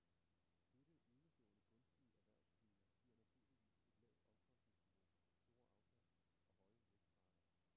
Dette enestående gunstige erhvervsklima giver naturligvis et lavt omkostningsniveau, store afkast og høje vækstrater.